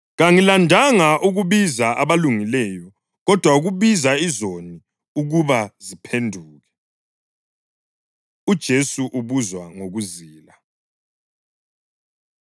Kangilandanga ukubiza abulungileyo, kodwa ukubiza izoni ukuba ziphenduke.” UJesu Ubuzwa Ngokuzila